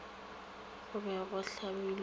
go be go hlabilwe ye